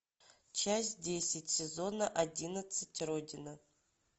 часть десять сезона одиннадцать родина